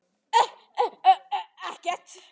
Ég kann eina sögu.